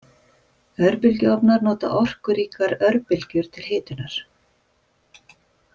Örbylgjuofnar nota orkuríkar örbylgjur til hitunar.